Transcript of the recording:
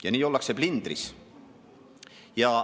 Ja nii ollakse plindris.